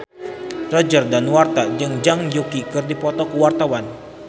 Roger Danuarta jeung Zhang Yuqi keur dipoto ku wartawan